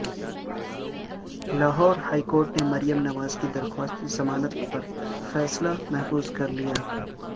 Lahore high court نےمریم نواز کی درخواست ضمانت پر فیصلہ محفوظ کر لیا